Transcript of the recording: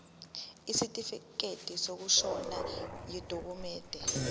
isitifikedi sokushona yidokhumende